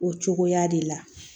O cogoya de la